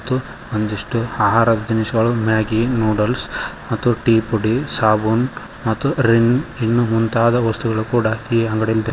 ಮತ್ತು ಒಂದಿಷ್ಟು ಆಹಾರ ದಿನಸಿಗಳು ಮ್ಯಾಗಿ ನೂಡಲ್ಸ್ ಮತ್ತು ಟೀ ಪುಡಿ ಸಾಬೂನ್ ಮತ್ತು ರಿನ್ ಇನ್ನೂ ಮುಂತಾದ ವಸ್ತುಗಳು ಕೂಡ ಈ ಅಂಗಡಿಯಲ್ಲಿ ದ --